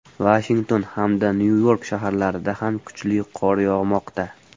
Vashington hamda Nyu-York shaharlarida ham kuchli qor yog‘moqda.